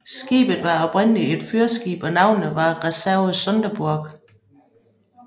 Skibet var oprindeligt et fyrskib og navnet var Reserve Sonderburg